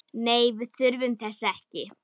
Nei, við þurfum þess ekki.